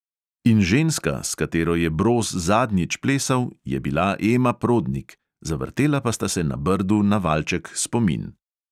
In ženska, s katero je broz zadnjič plesal, je bila ema prodnik, zavrtela pa sta se na brdu na valček spomin.